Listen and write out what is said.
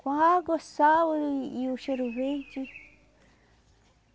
Com água, sal e o cheiro verde.